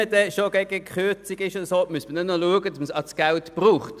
Wenn man schon gegen Kürzungen ist, sollte man zusehen, dass man das Geld auch braucht.